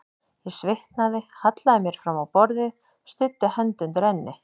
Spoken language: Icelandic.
Ég svitnaði, hallaði mér fram á borðið, studdi hönd undir enni.